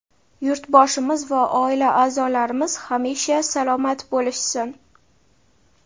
yurtboshimiz va oila a’zolarimiz hamisha salomat bo‘lishsin.